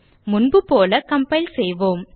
முன்புபோல கம்பைல் செய்வோம்